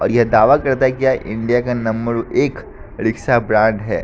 और यह दावा करता है कि यह इंडिया का नंबर एक रिक्शा ब्रांड है।